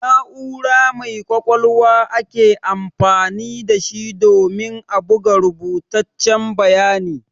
Na'ura mai ƙwaƙwalwa ake amfani da shi domin a buga rubutaccen bayani.